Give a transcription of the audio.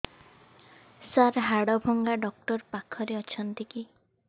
ସାର ହାଡଭଙ୍ଗା ଡକ୍ଟର ପାଖରେ ଅଛନ୍ତି କି